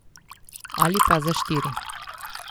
Ali pa za štiri.